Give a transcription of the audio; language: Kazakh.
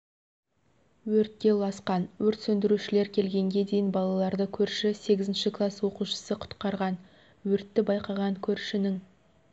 өртке ұласқан өрт сөндірушілер келгенге дейін балаларды көрші сегізінші класс оқушысы құтқарған өртті байқаған көршінің